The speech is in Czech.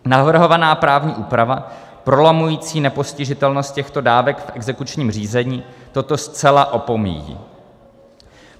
Navrhovaná právní úprava prolamující nepostižitelnost těchto dávek v exekučním řízení toto zcela opomíjí.